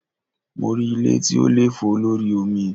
Mo rí ilé tí ó lè fò lórí omi.